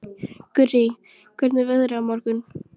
Gurrí, hvernig er veðrið á morgun?